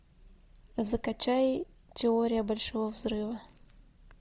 закачай теория большого взрыва